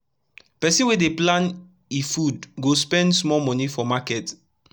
pesin wey dey plan e food go spend small moni for market